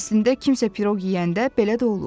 Əslində kimsə piroq yeyəndə belə də olur.